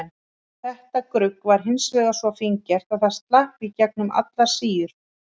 Þetta grugg var hins vegar svo fíngert að það slapp í gegnum allar síur.